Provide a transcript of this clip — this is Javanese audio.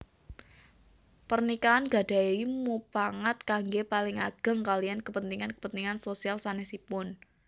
Pernikahan gadahi mupangat kangge paling ageng kaliyan kepentingan kepentingan sosial sanesipun